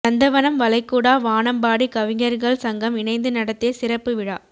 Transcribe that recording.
நந்தவனம் வளைகுடா வானம்பாடி கவிஞர்கள் சங்கம் இணந்து நடத்திய சிறப்பு விழா